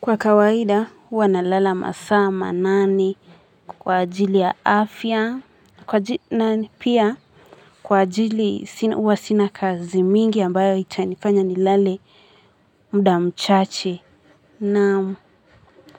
Kwa kawaida huwa nalala masaa manani kwa ajili ya afya kwa nani pia kwa ajili uwa sina kazi mingi ambayo itanifanya nilale muda mchache naam.